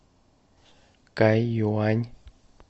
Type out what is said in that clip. кайюань